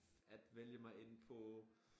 At vælge mig ind på